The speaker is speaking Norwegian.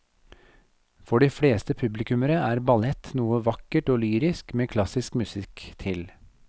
For de fleste publikummere er ballett noe vakkert og lyrisk med klassisk musikk til.